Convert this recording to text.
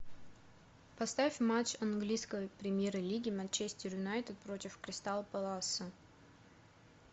поставь матч английской премьер лиги манчестер юнайтед против кристал пэласа